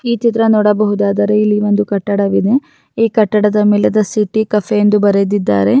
ಈ ಚಿತ್ರ ನೋಡಬಹುದಾದ್ರೆ ಕಟ್ಟಡವಿದೆ ಈ ಕಟ್ಟಡ ಮೇಲೆ ಬರೆದಿದ್ದರೆ.